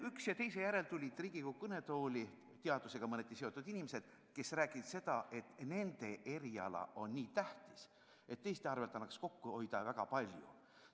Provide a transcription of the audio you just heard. Üksteise järel tulid Riigikogu kõnetooli teadusega mõneti seotud inimesed, kes rääkisid, et nende eriala on nii tähtis ja teiste arvel annaks väga palju kokku hoida.